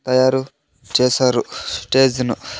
తాయారు చేసారు చేసిను.